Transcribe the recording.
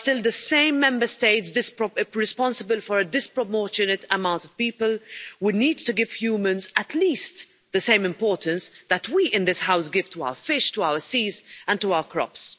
The same Member States are still responsible for a disproportionate number of people. We need to give humans at least the same importance that we in this House give to our fish, our seas and our crops.